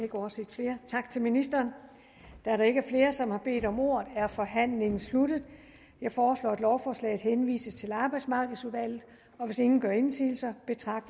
ikke overset flere tak til ministeren da der ikke er flere som har bedt om ordet er forhandlingen sluttet jeg foreslår at lovforslaget henvises til arbejdsmarkedsudvalget og hvis ingen gør indsigelse